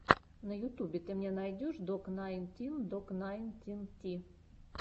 на ютубе ты мне найдешь док найнтин док найнтин ти